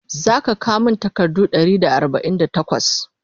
zaka kawo min takardu Ɗari da arbain da takwas?